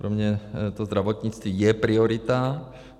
Pro mě to zdravotnictví je priorita.